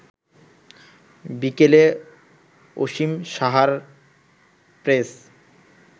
বিকেলে অসীম সাহার প্রেস